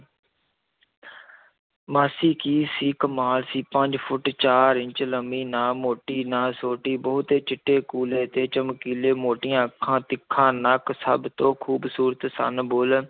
ਮਾਸੀ ਕੀ ਸੀ, ਕਮਾਲ ਸੀ, ਪੰਜ ਫੁੱਟ ਚਾਰ ਇੰਚ ਲੰਮੀ, ਨਾ ਮੋਟੀ ਨਾ ਸੋਟੀ, ਬਹੁਤੇ ਚਿੱਟੇ ਕੂਲੇ ਤੇ ਚਮਕੀਲੇ, ਮੋਟੀਆਂ ਅੱਖਾਂ, ਤਿੱਖਾ ਨੱਕ, ਸਭ ਤੋਂ ਖ਼ੂਬਸੂਰਤ ਸਨ ਬੁੱਲ੍ਹ,